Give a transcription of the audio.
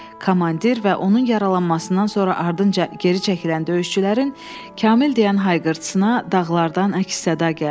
Komandir və onun yaralanmasından sonra ardınca geri çəkilən döyüşçülərin Kamil deyən hayqırtısına dağlardan əks-səda gəldi.